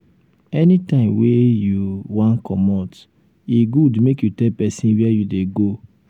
anytime wey um you um wan commot e good make you tell pesin where you dey go. um